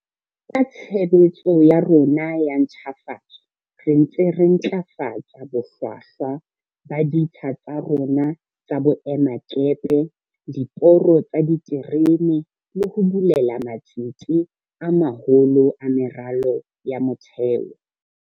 Ka tshebetso ya rona ya ntjhafatso re ntse re ntlafatsa bohlwa hlwa ba ditsha tsa rona tsa boemakepe, diporo tsa diterene le ho bulela matsete a maholo a meralo ya motheo.